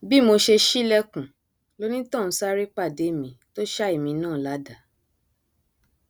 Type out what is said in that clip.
bí mo ṣe ṣílẹkùn lonítọhún sáré pàdé mi tó ṣá èmi náà ládàá